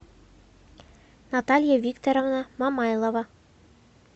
наталья викторовна мамайлова